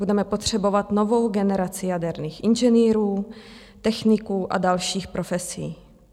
Budeme potřebovat novou generaci jaderných inženýrů, techniků a dalších profesí.